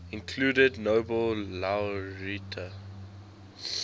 included nobel laureate